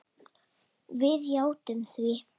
Við játtum því.